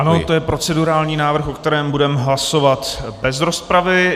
Ano, to je procedurální návrh, o kterém budeme hlasovat bez rozpravy.